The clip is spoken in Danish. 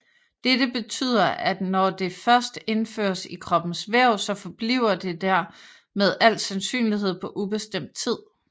Dette betyder at når det først indføres i kroppens væv så forbliver det der med al sandsynlighed på ubestemt tid